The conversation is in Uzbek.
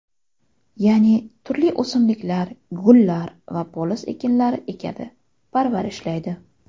Ya’ni turli o‘simliklar, gullar va poliz ekinlarini ekadi, parvarishlaydi.